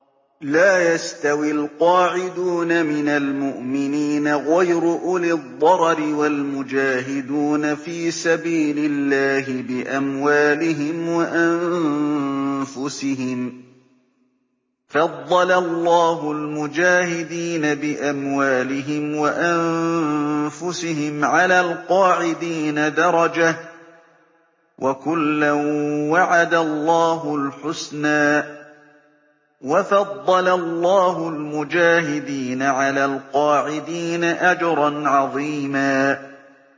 لَّا يَسْتَوِي الْقَاعِدُونَ مِنَ الْمُؤْمِنِينَ غَيْرُ أُولِي الضَّرَرِ وَالْمُجَاهِدُونَ فِي سَبِيلِ اللَّهِ بِأَمْوَالِهِمْ وَأَنفُسِهِمْ ۚ فَضَّلَ اللَّهُ الْمُجَاهِدِينَ بِأَمْوَالِهِمْ وَأَنفُسِهِمْ عَلَى الْقَاعِدِينَ دَرَجَةً ۚ وَكُلًّا وَعَدَ اللَّهُ الْحُسْنَىٰ ۚ وَفَضَّلَ اللَّهُ الْمُجَاهِدِينَ عَلَى الْقَاعِدِينَ أَجْرًا عَظِيمًا